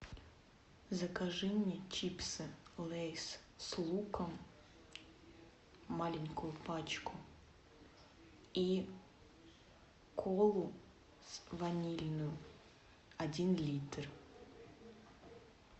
закажи мне чипсы лэйз с луком маленькую пачку и колу с ванилью один литр